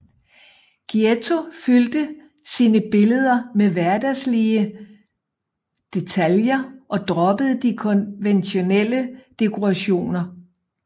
Giotto fyldte sine billeder med hverdagslige detaljer og droppede de konventionelle dekorationer